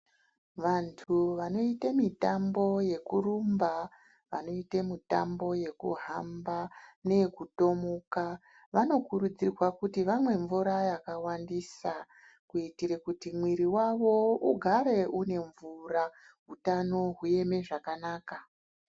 Vanhu vanoite mitambo yekurumba, vanoite mitambo yekuhamba neyekutomuka. vanokurudzirwa kuti vamwe mvura yakawandisa kuitira kuti mwiri yavo igare ine mvura utano hueme zvakanaka.